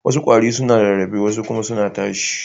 Wassu kwarare suna rarrafe wasu kuma suna tashiwa.